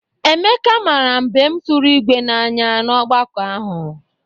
Emeka mara mbem tụrụ ígwé n'anya n'ọgbakọ ahụ.